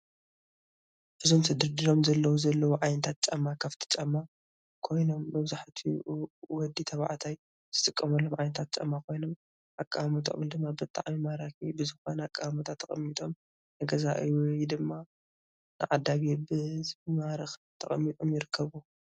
እዞም ተደርዲሮም ዘለዉ ዘለዉ ዓይነታት ጫማ ክፍቲ ጫማ ኮይኖም መብዛሕትኡ ወዲ ተባዕታይ ዝጥቀመሎም ዓይነታት ጫማ ኮይኖም አቀማምጠኦም ድማ ብጣዕሚ ማራኪ ብዝኾነ አቀማምጣ ተቀሚጦም ንገዛኢ ወይ ድማ ንዓዳጊ ብዝማርክ ተቀሚጦም ይርከቡ፡፡